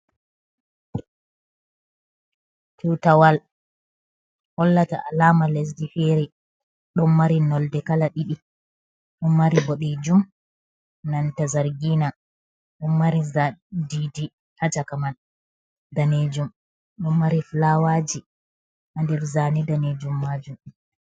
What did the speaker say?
Tutawal hollata alama lesdi fere. Ɗon mari nolde kala ɗiɗi; ɗon mari boɗejum nanta zargina. ɗon mari(zan) didi haa chaka man danejum, ɗon mari fulawaji ha nder zane danejum majum.